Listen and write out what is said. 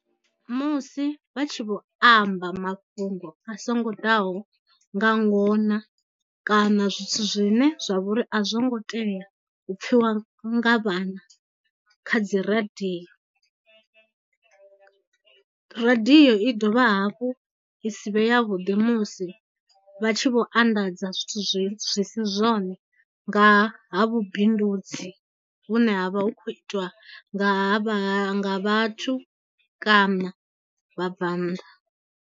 Musi vha tshi vho amba mafhungo a songo ḓaho nga ngona kana zwithu zwine zwa vho ri a zwo ngo tea u pfiwa nga vhana kha dziradio. Radiyo i dovha hafhu i si vhe ya vhuḓi musi vha tshi vho anḓadza zwithu zwi si zwone nga ha vhubindudzi vhune ha vha hu khou itiwa nga vhathu kana vhabvannḓa.